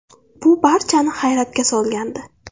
Bu barchani hayratga solgandi.